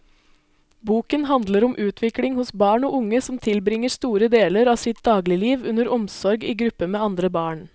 Boken handler om utvikling hos barn og unge som tilbringer store deler av sitt dagligliv under omsorg i gruppe med andre barn.